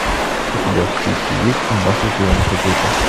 у тебя в списке есть здравствуйте я ваша тетя